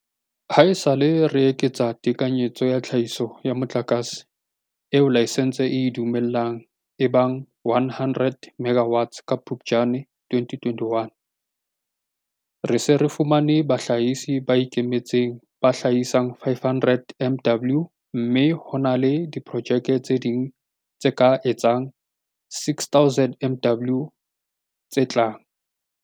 Haesale re eketsa tekanyetso ya tlhahiso ya motlakase eo laesense e e dumellang e ba 100 megawatts ka Phuptjane 2021, re se re fumane bahlahisi ba ikemetseng ba tla hlahisa 500 MW mme ho na le diprojeke tse ding tse ka etsang 6 000 MW tse tlang.